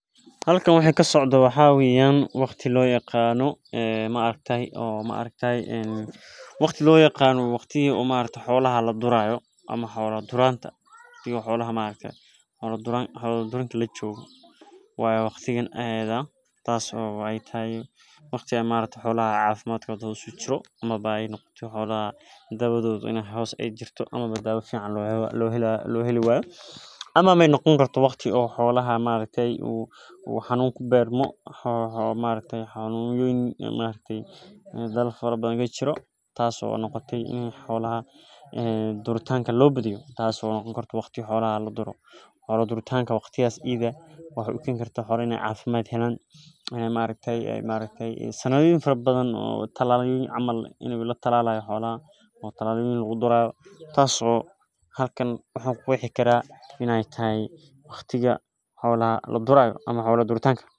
Halkan waxa kasocdo waxaa waye waqtiga xolaha ladurayo oo xola duridha lajogo amawa ee noqoto in ee xolaha xanunoyin kubato I ee sanadhoyin fara badan tas oo an ku qexayo xola duritanka sas ayan u maleynaya waxa kujirta xolaha cafimadkodha.